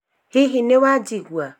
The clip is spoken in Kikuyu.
hihi nĩwajĩgua?